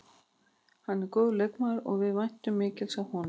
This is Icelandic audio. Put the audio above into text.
Hann er góður leikmaður og við væntum mikils af honum.